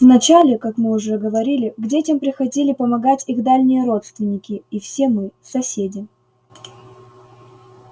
вначале как мы уже говорили к детям приходили помогать их дальние родственники и все мы соседи